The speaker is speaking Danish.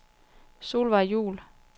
Solvejg Juul